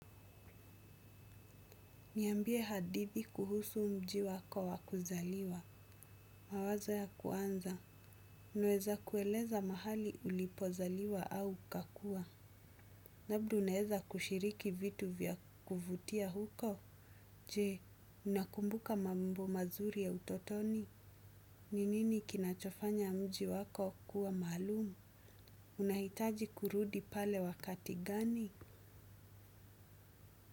Niambie hadithi kuhusu mji wako wakuzaliwa. Mawazo ya kwanza. Unaeza kueleza mahali ulipozaliwa au ukakua. Labda unaeza kushiriki vitu vya kuvutia huko. Je, unakumbuka mambo mazuri ya utotoni. Ninini kinachofanya mji wako kuwa maalumu. Unahitaji kurudi pale wakati gani?